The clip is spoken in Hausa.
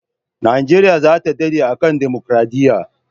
Nigeria zata dade a kan democaradiya